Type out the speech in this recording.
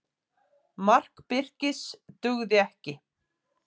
Mark Birkis dugði ekki